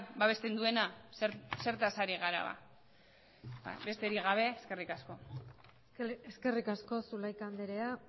babesten duena zertaz ari gara ba besterik gabe eskerrik asko eskerrik asko zulaika andrea